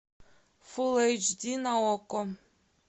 фул эйч ди на окко